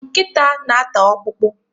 Nkịta na- ata ọkpụkpụ.